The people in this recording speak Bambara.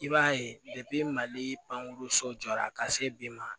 I b'a ye mali pangeso jɔra ka se bi ma